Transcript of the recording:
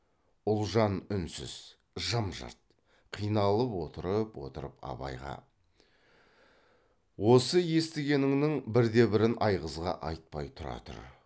ұлжан үнсіз жым жырт қиналып отырып отырып абайға осы естігеніңнің бірде бірін айғызға айтпай тұра тұр